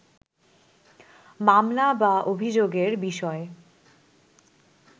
মামলা বা অভিযোগের বিষয়